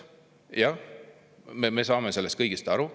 Jah, me saame sellest kõigest aru.